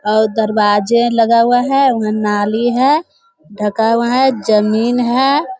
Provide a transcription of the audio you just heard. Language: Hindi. अ दरवाजे लगा हुआ हैं वह नाली है ढका हुआ है जमीन है।